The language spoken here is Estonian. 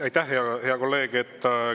Aitäh, hea kolleeg!